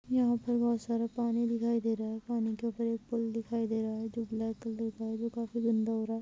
यह पे बहुत सारा पानी दिखाई दे रहा है और उपर एक पुल दिखाई दे रह है जो ब्लैक कलर का है जो काफी गंदा हो रहा है।